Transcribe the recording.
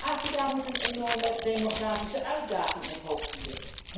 Afrika moet een enorme demografische uitdaging het hoofd bieden.